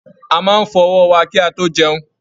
A máa n fọ ọwọ wà ki a to jẹun.